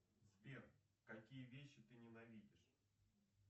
сбер какие вещи ты ненавидишь